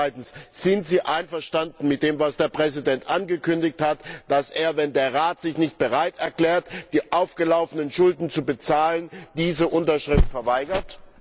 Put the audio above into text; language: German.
Zweitens Sind Sie einverstanden mit dem, was der Präsident angekündigt hat, dass er, wenn der Rat sich nicht bereit erklärt, die aufgelaufenen Schulden zu bezahlen, diese Unterschrift verweigert?